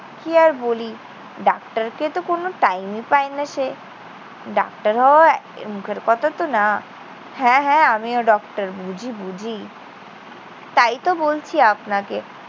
কি আর বলি? ডাক্তারকে তো কোনো time ই পায় না সে। ডাক্তার হওয়া মুখের কথাতো না। হ্যাঁ, হ্যাঁ, আমিও ডক্টর। বুঝি, বুঝি। তাইতো বলছি আপনাকে